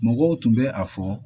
Mɔgɔw tun bɛ a fɔ